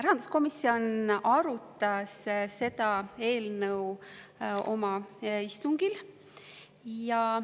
Rahanduskomisjon arutas seda eelnõu oma istungil.